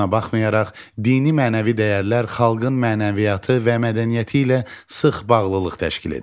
Buna baxmayaraq, dini mənəvi dəyərlər xalqın mənəviyyatı və mədəniyyəti ilə sıx bağlılıq təşkil edir.